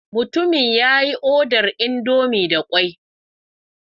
Mutumin ya yi odar indomie da kwai.